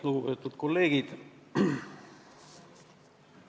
Lugupeetud kolleegid!